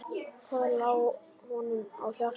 Hvað lá honum á hjarta?